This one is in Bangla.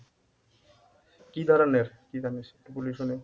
কি ধরনের কি জানিস? বলিসও নি